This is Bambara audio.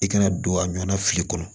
I kana don a ɲɔnna fili kɔnɔ